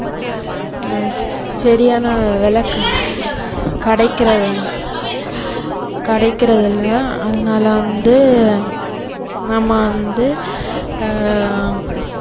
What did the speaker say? ஹம் சரியான விலை வேலை கெ~ கிடைக்கிற~ கிடைக்கிறதில்ல அதனால வந்து நம்ம வந்து ஆஹ்